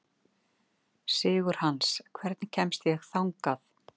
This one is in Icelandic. Sigurhans, hvernig kemst ég þangað?